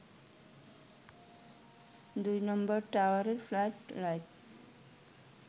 ২ নম্বর টাওয়ারের flood light